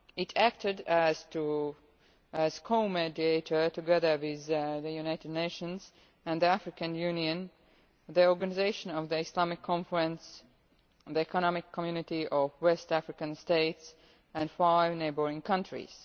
It acted as co mediator together with the United Nations, the African Union, the Organization of the Islamic Conference, the Economic Community of West African States and five neighbouring countries.